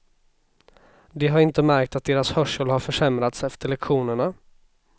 De har inte märkt att deras hörsel har försämrats efter lektionerna.